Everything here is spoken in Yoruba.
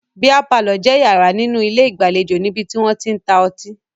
Bíà palọ̀ jẹ́ yàrá nínú ilé ìgbàlejò níbi tí wọ́n tí ń ta ọtí